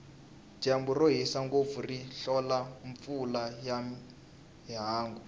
dyambu rohisa ngopfu ri hlola mpfula ya ihangu